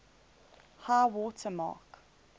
high water mark